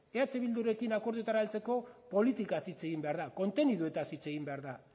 eh bildurekin akordioetara heltzeko politikaz hitz egin behar da konteniduetaz hitz egin behar da